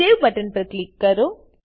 save button પર click કરો